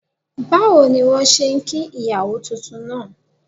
Báwo ni wọ́n ṣe kí ìyàwó titun náà?